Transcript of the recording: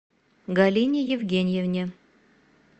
галине евгеньевне